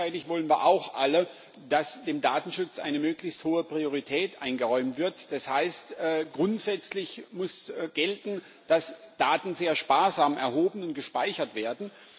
Gleichzeitig wollen wir auch alle, dass dem Datenschutz eine möglichst hohe Priorität eingeräumt wird, das heißt, grundsätzlich muss gelten, dass Daten sehr sparsam erhoben und gespeichert werden.